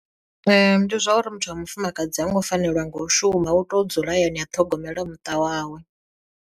Ndi zwa uri muthu wa mufumakadzi ha ngo fanelwa nga u shuma u to dzula hayani a ṱhogomela muṱa wawe.